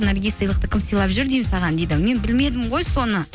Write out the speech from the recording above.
наргиз сыйлықты кім сыйлап жүр деймін саған дейді мен білмедім ғой соны